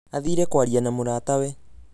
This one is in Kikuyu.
athĩre kwaria na mũratawe